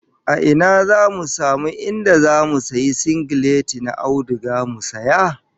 A ina zamu samu inda zamu sayi singileti na auduga mu saya?